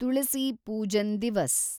ತುಳಸಿ Pujan ದಿವಸ್